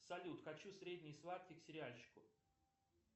салют хочу средний сладкий к сериальчику